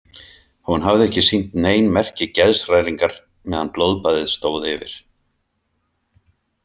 Hún hafði ekki sýnt nein merki geðshræringar meðan blóðbaðið stóð yfir.